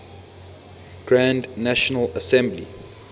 grand national assembly